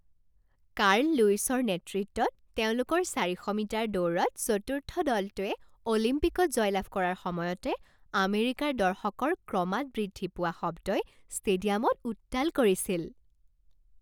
Carl লুইছৰ নেতৃত্বত তেওঁলোকৰ চাৰিশ মিটাৰ দৌৰত চতুৰ্থ দলটোৱে অলিম্পিকত জয়লাভ কৰাৰ সময়তে আমেৰিকাৰ দৰ্শকৰ ক্ৰমাৎ বৃদ্ধি পোৱা শব্দই ষ্টেডিয়ামত উত্তাল কৰিছিল।